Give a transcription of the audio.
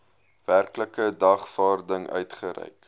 werklike dagvaarding uitgereik